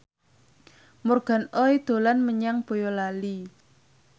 Morgan Oey dolan menyang Boyolali